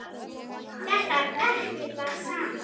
Þetta er ekki það sama.